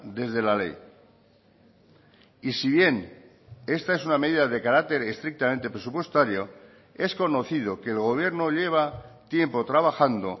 desde la ley y si bien esta es una medida de carácter estrictamente presupuestario es conocido que el gobierno lleva tiempo trabajando